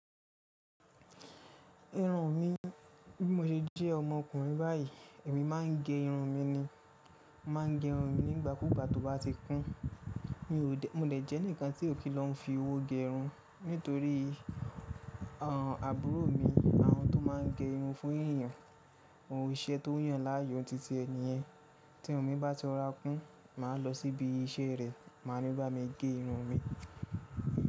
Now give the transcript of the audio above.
Irun mi, bí mo ṣe jẹ́ ọmọkùnrin báyìí, èmi má ń gẹ irun mi ni. Máa ń gẹ irun mi nígbà kúùgbà tó bá ti kún. Mi ò dè, mo dè jẹ́ ǹkan tí ò kí lọ́ ń fi owó gẹ irun nítorí àbúrò mi, àwọn tó má ń gẹ irun fún èèyàn, ohun ìṣe tó yàn láàyò titi ẹ niyen. Tí irun mi bá ti rọra kún, màá lọ síbi isẹ́ rè, màá ní bá mi gẹ irun mi.